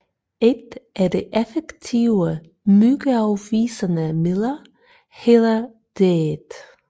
Et af de effektive myggeafvisende midler hedder DEET